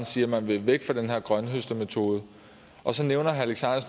siger at man vil væk fra den her grønthøstermetode og så nævner